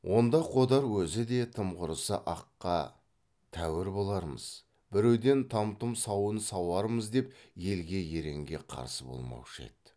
онда қодар өзі де тым құрыса аққа тәуір болармыз біреуден там тұм сауын сауармыз деп елге еренге қарсы болмаушы еді